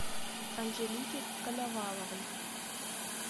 анжелики коноваловой